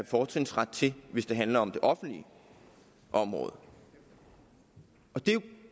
fortrinsret til hvis det handler om det offentlige område det er jo